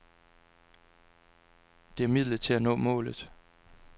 Det er midlet til at nå målet.